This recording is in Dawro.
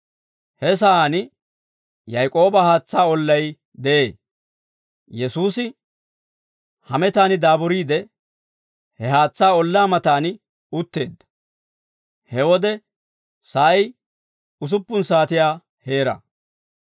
He sa'aan Yaak'ooba haatsaa ollay de'ee; Yesuusi hametan daaburiide, he haatsaa ollaa matan utteedda. He wode sa'ay usuppun saatiyaa heera.